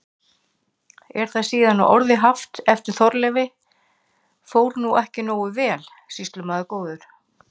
Er það síðan að orðum haft eftir Þorleifi: Fór nú ekki nógu vel, sýslumaður góður?